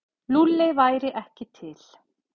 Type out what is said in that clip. Lúlli væri ekki til.